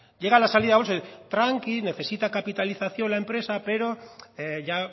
llega la salida a bolsa y dicen tranquilos necesita capitalización la empresa pero ya